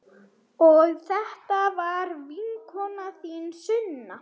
Og þetta er vinkona þín, Sunna!